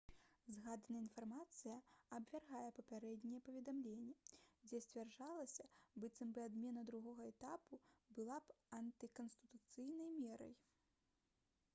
згаданая інфармацыя абвяргае папярэднія паведамленні дзе сцвярджалася быццам бы адмена другога этапу была б антыканстытуцыйнай мерай